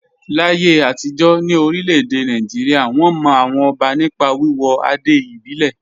Láyé àtijọ́ ní orílẹ̀-èdè Nàìjíríà, wọ́n mọ àwọn ọba nípa wíwọ adé ìbílẹ̀.